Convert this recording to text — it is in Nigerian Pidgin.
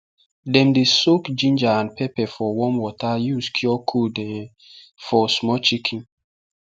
dem dey soak ginger and pepper for warm water use cure cold um for small chicken